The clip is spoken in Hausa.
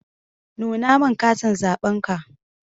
Nuna min katin zaɓenka.